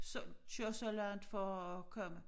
Så køre så langt for at komme